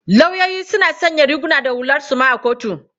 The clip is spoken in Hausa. Lauyoyi suna sanya riguna da hular suma a kotu.